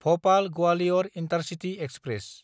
Bhopal Gwalior intercity express